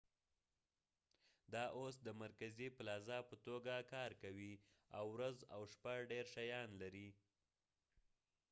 دا اوس د مرکزي پلازا په توګه کار کوي او ورځ او شپه ډير شيان لري